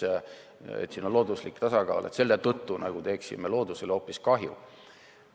ja looduslik tasakaal, et selle tõttu me nagu teeksime loodusele hoopis kahju.